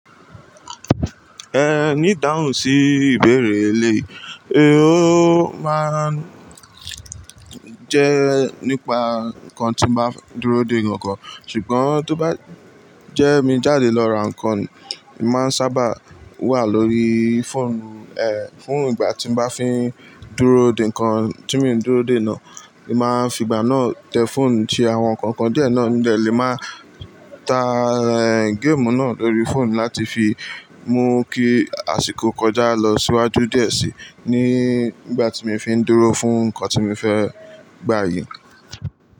Ẹ ní dáhùn sí ìbéèrè rẹ eléyìí, ó máa ń jẹ́ nípa nǹkan tí mo máa ń dúró dè ní ọ̀kọ̀ọ̀kan, ṣùgbọ́n tó bá jẹ́ mi jáde lọ ra nǹkan, èmi máa ń sábà wà lórí fóònù, ẹ, fún ìgbà tí mo bá fi ń dúró dè nǹkan tí mo ń dúró dè náà, èmi máa ń fi ìgbà náà tẹ fóònù ṣe àwọn nǹkan kan díẹ̀ náà mo dẹ lè máa ta, ẹ, géèmù náà lórí fóònù láti fi mú kí àsìkò kọjá lọ síwájú díẹ̀ síi ní ìgbà tí mo fi ń dúró fún nǹkan tí mo fẹ́ gbà yìí.